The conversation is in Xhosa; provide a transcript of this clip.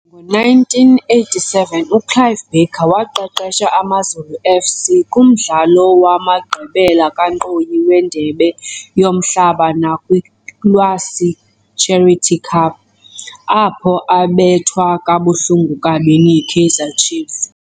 Ngo-1987, uClive Barker waqeqesha AmaZulu FC kumdlalo wamagqibela kankqoyi weNdebe yoMhlaba nakwi-Iwisa Charity Cup, apho abethwa kabuhlungu kabini yiKaizer Chiefs.